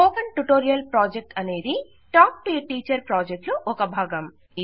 spoken tutorial project అనేది talk to teacher project లో భాగం